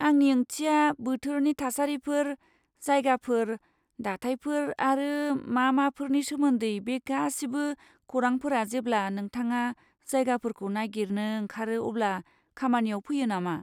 आंनि ओंथिया, बोथोरनि थासारिफोर, जायगाफोर, दाथायफोर आरो मा माफोरनि सोमोनदै बे गासिबो खौरांफोरा जेब्ला नोंथाङा जायगाफोरखौ नागिरनो ओंखारो अब्ला खामानियाव फैयो नामा?